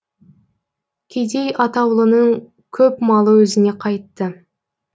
кедей атаулының көп малы өзіне қайтты